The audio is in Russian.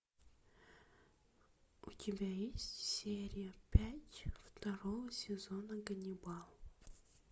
у тебя есть серия пять второго сезона ганнибал